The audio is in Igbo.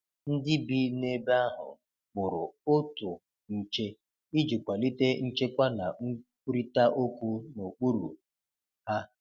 Ndi bi n'ebe ahu kpụrụ otụ nche ịjị kwalite nchekwa na nkwụrita okwu na okpụrụ ha